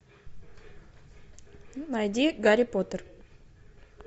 найди гарри поттер